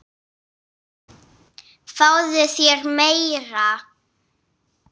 Fáðu þér meira!